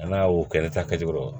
An'a y'o kɛ n'a taa kɛcogo dɔn